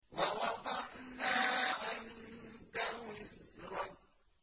وَوَضَعْنَا عَنكَ وِزْرَكَ